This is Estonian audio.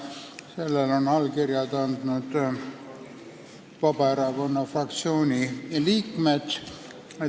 Sellele on oma allkirja andnud Vabaerakonna fraktsiooni liikmed.